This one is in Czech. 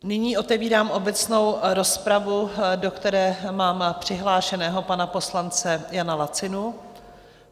Nyní otevírám obecnou rozpravu, do které mám přihlášeného pana poslance Jana Lacinu.